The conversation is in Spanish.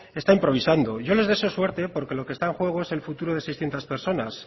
está improvisando yo les deseo suerte porque lo que está en juego es el futuro de seiscientos personas